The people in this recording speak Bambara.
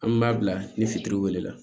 An b'a bila ni fitiriwale la